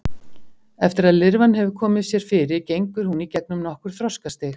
Eftir að lirfan hefur komið sér fyrir gengur hún í gegnum nokkur þroskastig.